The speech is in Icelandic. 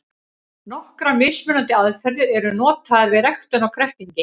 Nokkrar mismunandi aðferðir eru notaðar við ræktun á kræklingi.